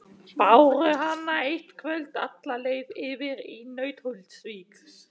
Báru hana eitt kvöld alla leið yfir í Nauthólsvík.